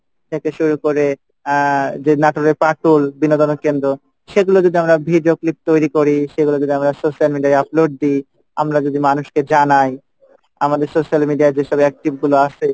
থেকে শুরু করে আহ যে নাটোরের পাটুল বিনোদনের কেন্দ্র সেগুলো যদি আমরা video clip তৈরি করি সেগুলো যদি আমরা social media আই upload দিই আমরা যদি মানুষকে জানাই আমাদের social media আই যেসব active গুলা আসে,